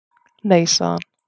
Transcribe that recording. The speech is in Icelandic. Nei, sagði hann.